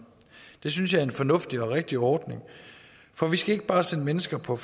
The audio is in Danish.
det synes jeg er en fornuftig og rigtig ordning for vi skal ikke bare sende mennesker på